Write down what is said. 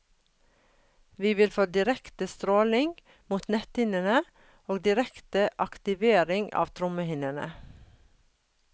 Vi vil få direkte stråling mot netthinnene og direkte aktivering av trommehinnene.